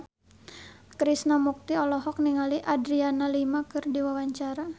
Krishna Mukti olohok ningali Adriana Lima keur diwawancara